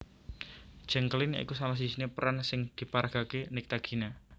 Jeng Kelin ya iku salah sijine peran sing diparagakake Nyctagina